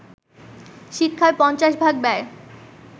শিক্ষার পঞ্চাশ ভাগ ব্যয়